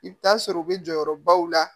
I bɛ taa sɔrɔ u bɛ jɔyɔrɔbaw la